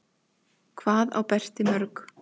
Hvað á Berti mörg?